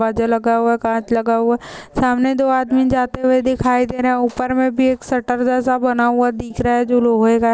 दरवाजा लगा हुआ है काँच लगा हुआ है सामने दो आदमी जाते हुए दिखाई दे रहै ऊपर में भी एक शटर जैसा बना हुआ दिख रहा है जो लोहो का--